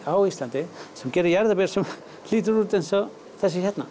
á Íslandi sem gera jarðaber sem líta út eins og þessi hérna